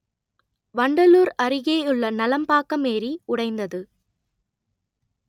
வண்டலூர் அருகேயுள்ள நலம்பாக்கம் ஏரி உடைந்தது